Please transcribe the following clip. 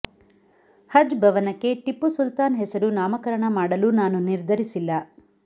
ಹಜ್ ಭವನಕ್ಕೆ ಟಿಪ್ಪು ಸುಲ್ತಾನ್ ಹೆಸರು ನಾಮಕರಣ ಮಾಡಲು ನಾನು ನಿರ್ಧರಿಸಿಲ್ಲ